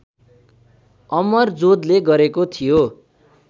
अमरजोधले गरेको थियो